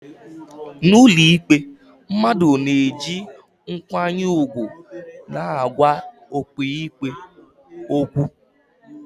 n'ụlọikpe, mmadụ na-eji nkwanye ùgwù na-agwa ọkàikpe okwu